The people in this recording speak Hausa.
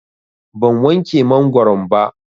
Ban wanke mangoron ba.